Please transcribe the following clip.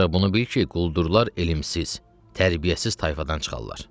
Ancaq bunu bil ki, quldurlar elmsiz, tərbiyəsiz tayfadan çıxarlar.